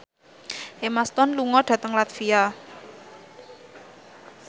Emma Stone lunga dhateng latvia